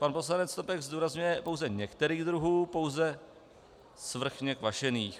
Pan poslanec Snopek zdůrazňuje pouze některých druhů, pouze svrchně kvašených.